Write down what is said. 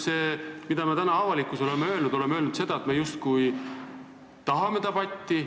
Me oleme täna avalikkusele öelnud, et me tahame debatti.